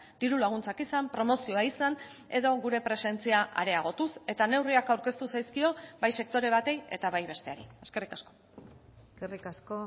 diru laguntzak izan promozioa izan edo gure presentzia areagotuz eta neurriak aurkeztu zaizkio bai sektore bati eta bai besteari eskerrik asko eskerrik asko